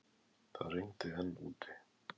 Það rigndi enn úti.